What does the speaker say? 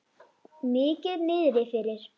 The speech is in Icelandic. Mikið niðri fyrir.